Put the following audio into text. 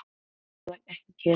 Ég borða ekki kjöt.